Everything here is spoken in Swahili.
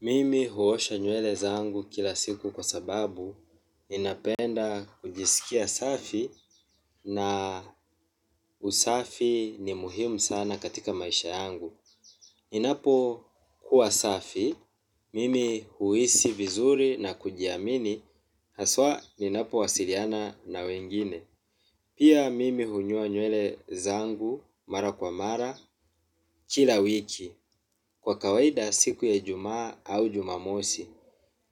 Mimi huosha nywele zangu kila siku kwa sababu, ninapenda kujiskia safi na usafi ni muhimu sana katika maisha yangu. Inapokuwa safi, mimi huhisi vizuri na kujiamini, haswa ninapowasiliana na wengine. Pia mimi hunyoa nywele zangu mara kwa mara kila wiki, kwa kawaida siku ya ijumaa au jumamosi.